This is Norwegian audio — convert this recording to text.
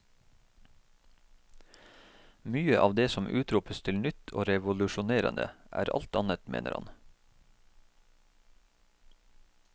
Mye av det som utropes til nytt og revolusjonerende, er alt annet, mener han.